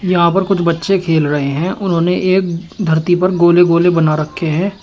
यहाँ पर कुछ बच्चे खेल रहे हैं उन्होंने एक धरती पर गोले गोले बना रखे हैं।